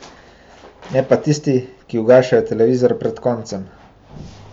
Ne pa tisti, ki ugašajo televizor pred koncem.